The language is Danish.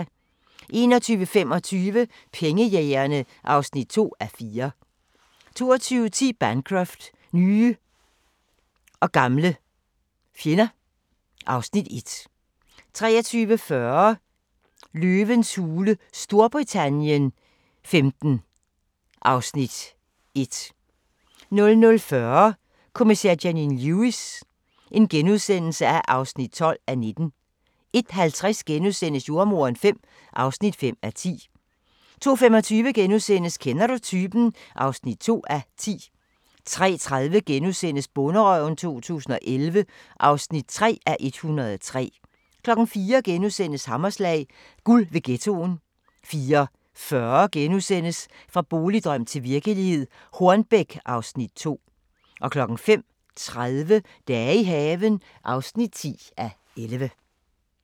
21:25: Pengejægerne (2:4) 22:10: Bancroft: Nye og gamle fjende (Afs. 1) 23:40: Løvens Hule Storbritannien XV (Afs. 1) 00:40: Kommissær Janine Lewis (12:19)* 01:50: Jordemoderen V (5:10)* 02:45: Kender du typen? (2:10)* 03:30: Bonderøven 2011 (3:103)* 04:00: Hammerslag – guld ved ghettoen * 04:40: Fra boligdrøm til virkelighed - Hornbæk (Afs. 2)* 05:30: Dage i haven (10:11)